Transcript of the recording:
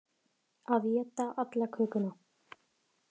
Að éta alla kökuna